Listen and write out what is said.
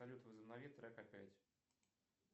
салют возобнови трек опять